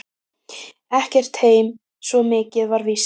Ekki heim, svo mikið var víst.